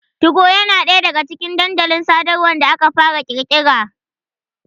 Tugo na ɗaya daga cikin dandalin sadarwa da aka fara ƙirƙira.